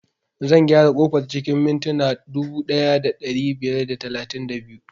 Zan gyara ƙofar cikin mintina dubu ɗaya da ɗari biyar da talatin da biyu